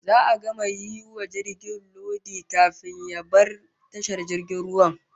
Za'a gama yi wa jirgin lodi, kafin ya bar tashar jirgin ruwan